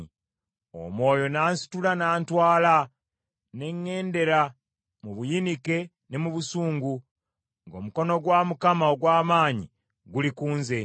Omwoyo n’ansitula n’antwala, ne ŋŋendera mu buyinike ne mu busungu, ng’omukono gwa Mukama ogw’amaanyi guli ku nze.